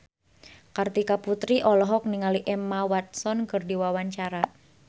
Kartika Putri olohok ningali Emma Watson keur diwawancara